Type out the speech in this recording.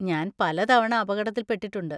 ഞാൻ പലതവണ അപകടത്തിൽ പെട്ടിട്ടുണ്ട്.